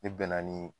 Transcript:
Ne bɛnna ni